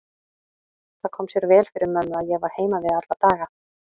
Það kom sér vel fyrir mömmu að ég var heima við alla daga.